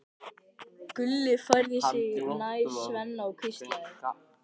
Gulli færði sig nær Svenna og hvíslaði